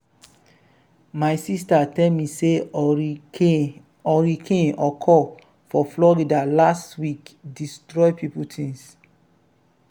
my sister tell me say hurricane hurricane occur for florida last week destroy people things.